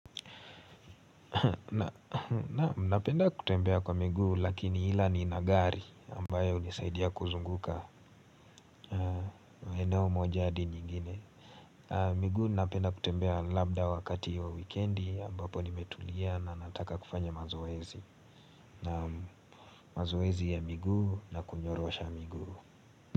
Naam napenda kutembea kwa miguu lakini ila nina gari ambayo unisaidia kuzunguka eneo moja hadi nyingine. Miguu napenda kutembea labda wakati wa wikendi ambapo nimetulia na nataka kufanya mazoezi. Na mazoezi ya miguu na kunyorosha miguu.